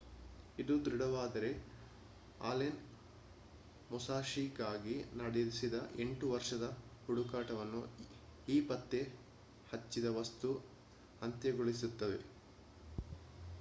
ಇದು ದೃಢವಾದರೆ ಆಲೆನ್ ಮುಸಾಶಿಗಾಗಿ ನಡೆಸಿದ ಎಂಟು ವರ್ಷದ ಹುಡುಕಾಟವನ್ನು ಈ ಪತ್ತೆ ಹಚ್ಚಿದ ವಸ್ತು ಅಂತ್ಯಗೊಳಿಸುತ್ತದೆ